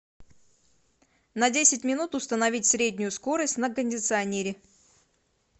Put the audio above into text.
на десять минут установить среднюю скорость на кондиционере